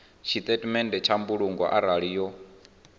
tshitatamennde tsha mbulungo arali yo